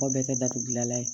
K'o bɛɛ kɛ datugulan ye